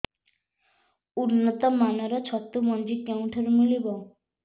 ଉନ୍ନତ ମାନର ଛତୁ ମଞ୍ଜି କେଉଁ ଠାରୁ ମିଳିବ